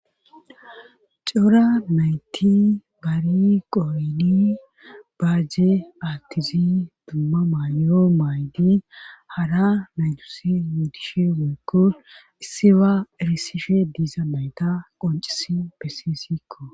cora nayti bari qorini baaje aattizi dumma maay7o maaydi hara maydusi yudishe woykko issiba erisishe diiza mayta qoncisi besisikko